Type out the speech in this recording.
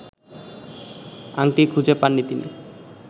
আংটি খুঁজে পাননি তিনি